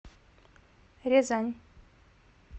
рязань